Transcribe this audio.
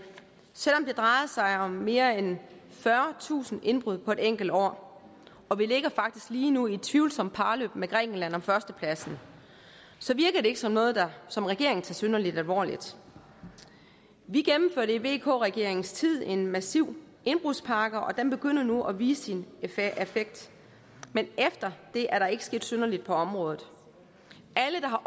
selv om det drejer sig om mere end fyrretusind indbrud på et enkelt år og vi ligger faktisk lige nu i et tvivlsomt parløb med grækenland om førstepladsen så virker det ikke som noget som regeringen tager synderlig alvorligt vi gennemførte i vk regeringens tid en massiv indbrudspakke og den begynder nu at vise sin effekt men efter det er der ikke sket synderligt på området alle der har